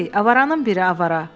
Ey, avaranın biri avara.